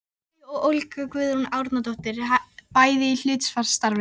Bæ og Olga Guðrún Árnadóttir, bæði í hlutastarfi.